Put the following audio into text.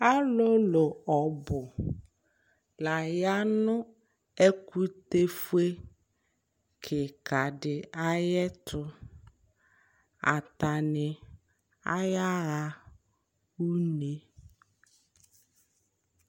Alʋlʋ ɔbʋ laya nʋ ɛkʋtɛfue kikadi ayʋɛtʋ atani ayaɣa ʋne